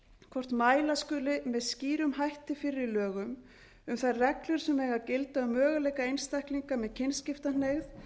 hvort mæla skuli með skýrum hætti fyrir í lögum um þær reglur sem eigi að gilda um möguleika einstaklinga með kynskiptahneigð